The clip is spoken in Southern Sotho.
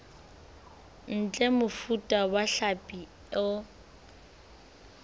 ntle mofuta wa hlapi o